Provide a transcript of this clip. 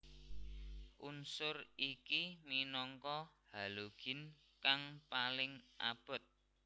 Unsur iki minangka halogin kang paling abot